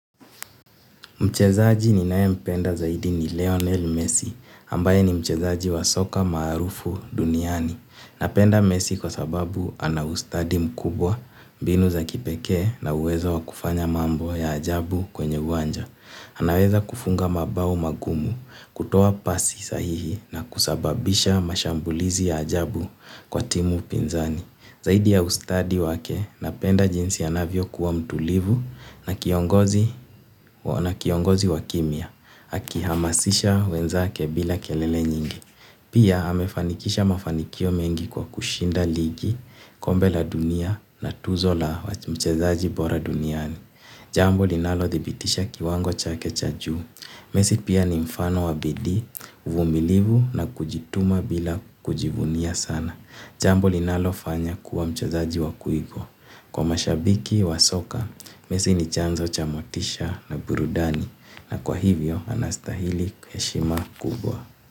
Mchezaji ninaye mpenda zaidi ni Leonel Messi, ambaye ni mchezaji wa soka maarufu duniani. Napenda Messi kwa sababu anaustadi mkubwa, binu za kipekee na uwezo wa kufanya mambo ya ajabu kwenye uwanja. Anaweza kufunga mabao magumu, kutoa pasi sahihi na kusababisha mashambulizi ya ajabu kwa timu pinzani. Zaidi ya ustadi wake napenda jinsi anavyo kuwa mtulivu na kiongozi wakimya. Akihamasisha wenzake bila kelele nyingi. Pia amefanikisha mafanikio mengi kwa kushinda ligi, kombe la dunia na tuzo la mchezaji bora duniani. Jambo linalo thibitisha kiwango chake cha juu. Mesi pia ni mfano wa bidii, uvumilivu na kujituma bila kujivunia sana. Jambo linalofanya kuwa mchezaji wa kuigwa. Kwa mashabiki wa soka, mesi ni chanzo cha motisha na burudani. Na kwa hivyo, anastahili heshima kubwa.